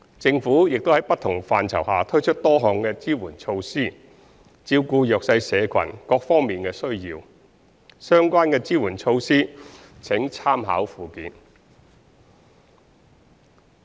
政府亦在不同範疇下推出多項支援措施，照顧弱勢社群各方面的需要，相關的支援措施請參考附件。